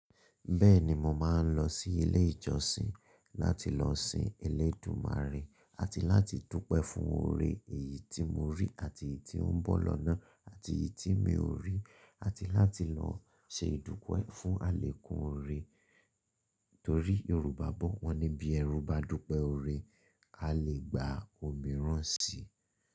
Bẹ́ẹ̀ni mo máa ń lọ sí ilé ìjọsìn láti lọ sin Elédùmarè àti láti dúpẹ́ fún oore èyí tí mo rí àti èyí tí ó ń bọ̀ lọ́nà àti èyí tí mi ò rí àti láti lọ ṣe ìdúpẹ́ fún àlékún oore torí Yorùbá bọ́ wọn ní bí ẹrú bá dúpẹ́ oore, a lè gba òmíràn si.